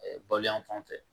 baloyan fan fɛ